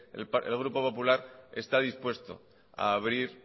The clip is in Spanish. el grupo popular está dispuesto a abrir